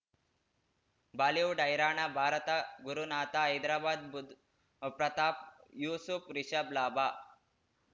Bollywood ಹೈರಾಣ ಭಾರತ ಗುರುನಾಥ ಹೈದರಾಬಾದ್ ಬುಧ್ ಪ್ರತಾಪ್ ಯೂಸುಫ್ ರಿಷಬ್ ಲಾಭ